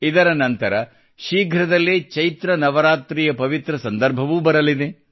ಇದರ ನಂತರ ಶೀಘ್ರದಲ್ಲೇ ಚೈತ್ರ ನವರಾತ್ರಿಯ ಪವಿತ್ರ ಸಂದರ್ಭವೂ ಬರಲಿದೆ